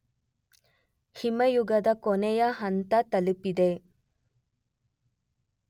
ಹಿಮಯುಗದ ಕೊನೆಯ ಹಂತ ತಲಪಿದೆ